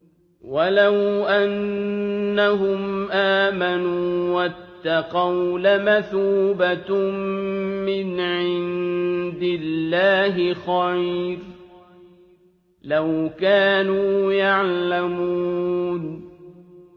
وَلَوْ أَنَّهُمْ آمَنُوا وَاتَّقَوْا لَمَثُوبَةٌ مِّنْ عِندِ اللَّهِ خَيْرٌ ۖ لَّوْ كَانُوا يَعْلَمُونَ